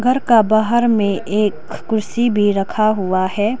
घर का बाहर में एक कुर्सी भी रखा हुआ है।